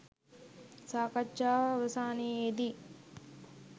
සාකච්ඡාව අවසානයේදී